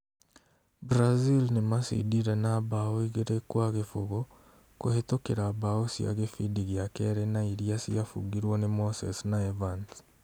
Brazil nĩmacindire na mbaũ igĩrĩ gwa gĩbũgũ kũhĩtũkĩra mbaũ cia gĩbindi gĩa kerĩ na irĩa ciabungirwo nĩ Moses na Evans